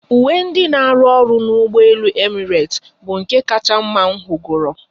Uwe ndị n'aru ọrụ n'ụgbọelu Emirates bụ nke kacha mma m hụgoro